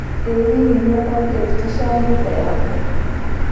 ĩ hihi nĩũthambirie ndirica ya nyumba yaku?